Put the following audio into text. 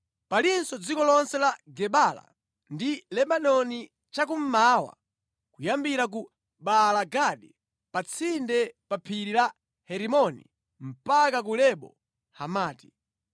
Palinso dziko lonse la Gebala ndi Lebanoni cha kummawa kuyambira ku Baala-Gadi pa tsinde pa phiri la Herimoni mpaka ku Lebo Hamati.